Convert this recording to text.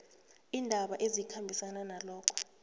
iindaba ezikhambisana nalokho